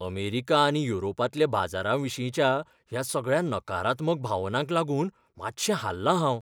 America आनी युरोपांतल्या बाजाराविशींच्या ह्या सगळ्या नकारात्मक भावनांक लागून मातशें हाल्लां हांव.